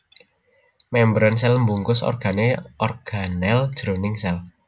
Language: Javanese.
Mémbran sèl mbungkus organel organel jroning sèl